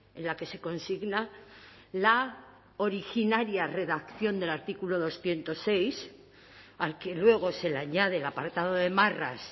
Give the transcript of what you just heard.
en la que se consigna la originaria redacción del artículo doscientos seis al que luego se le añade el apartado de marras